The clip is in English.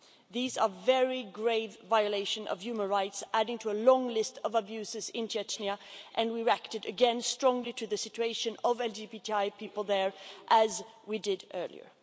These are very grave violations of human rights, adding to a long list of abuses in Chechnya and we reacted again strongly to the situation of LGBTI people there, as we did earlier.